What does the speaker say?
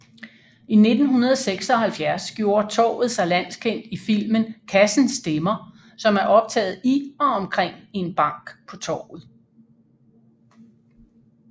I 1976 gjorde torvet sig landskendt i filmen Kassen stemmer som er optaget i og omkring en bank på Torvet